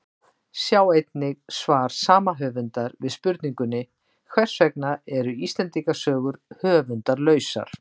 Sjá einnig svar sama höfundar við spurningunni Hvers vegna eru Íslendingasögur höfundarlausar?